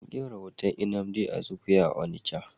An kera hoton Nnamdi Azikiwe a Onitsha.